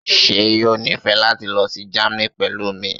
ṣe yoo nifẹ lati lọ si Germany pẹlu mi?